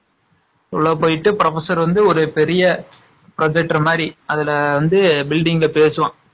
உள்ள போயிட்டு professor வந்து ஒரு பெரிய அதுல வந்து building ல பேசுவான்.